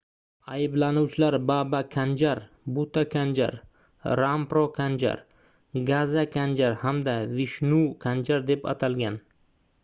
ayblanuvchilar baba kanjar buta kanjar rampro kanjar gaza kanjar hamda vishnu kanjar deb atalgan